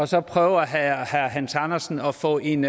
så prøver herre hans andersen at få en